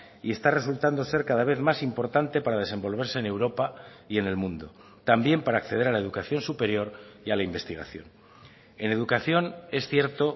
y está resultando ser cada vez más importante para desenvolverse en europa y en el mundo también para acceder a la educación superior y a la investigación en educación es cierto